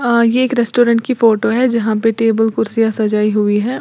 अं ये एक रेस्टोरेंट की फोटो है जहां पे टेबल कुर्सियां सजाई हुई है।